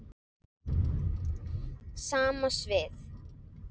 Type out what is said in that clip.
Sama svið.